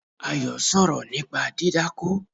Ayo sọ̀rọ̀ nípa dídákó